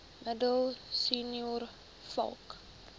middel senior vlak